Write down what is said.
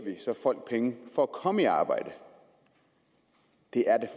folk penge for at komme i arbejde det er da